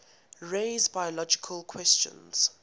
raise biological questions